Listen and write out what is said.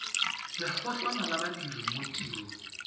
lekgotlana la badiri mo tirong